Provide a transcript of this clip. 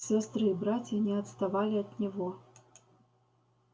сестры и братья не отставали от него